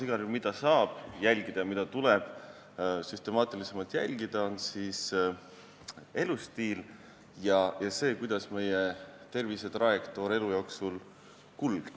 Igal juhul aga saab jälgida ja tuleb süstemaatilisemalt jälgida elustiili ja seda, kuidas meie tervisetrajektoor elu jooksul kulgeb.